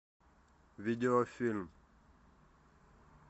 видеофильм